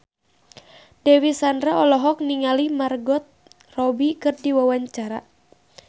Dewi Sandra olohok ningali Margot Robbie keur diwawancara